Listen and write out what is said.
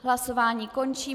Hlasování končím.